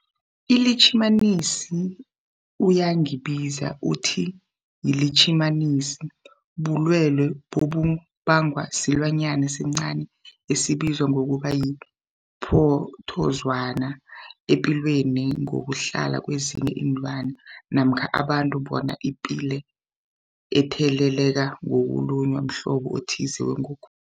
ILitjhimanisi uyangibiza uthi yilitjhimanisi, bulwelwe obubangwa silwanyana esincani esibizwa ngokuthiyi-phrotozowana epilweni ngokuhlala kezinye iinlwana namkha abantu, bona iphile itheleleka ngokulunywa mhlobo othize wengogo